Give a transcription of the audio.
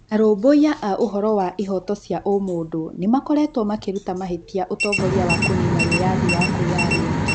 Arũmbũiya a ũhoro wa ihoto cia ũmũndũnĩmakoretwo makĩruta mahĩtia ũtongoria wa kũnina wiyathi wa kwiyaria.